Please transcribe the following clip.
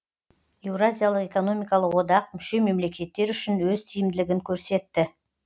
еуразиялық экономикалық одақ мүше мемлекеттер үшін өз тиімділігін көрсетті